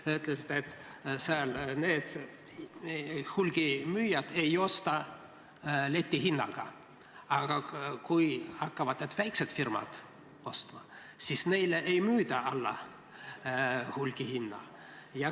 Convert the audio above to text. Te ütlesite, et hulgimüüjad ei osta letihinnaga, aga kui hakkavad ka need väiksed firmad ostma, siis neile ei müüda alla hulgihinna.